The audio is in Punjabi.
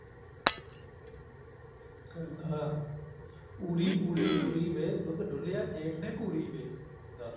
ਕਹਿੰਦਾ ਊਰੀ ਊਰੀ ਊਰੀ ਵੇ ਦੁੱਧ ਡੁੱਲਿਆ ਜੇਠ ਨੇ ਘੂਰੀ ਵੇ ਦੱਸ